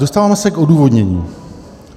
Dostáváme se k odůvodnění.